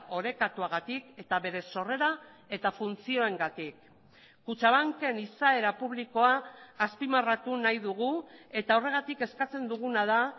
orekatuagatik eta bere sorrera eta funtzioengatik kutxabanken izaera publikoa azpimarratu nahi dugu eta horregatik eskatzen duguna da